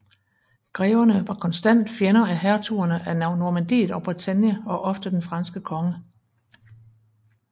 Greverne var konstante fjender af hertugerne af Normandiet og Bretagne og ofte den franske konge